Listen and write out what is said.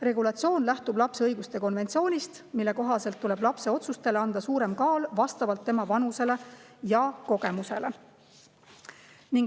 Regulatsioon lähtub lapse õiguste konventsioonist, mille kohaselt tuleb lapse otsustele anda suurem kaal vastavalt tema vanusele ja kogemusele.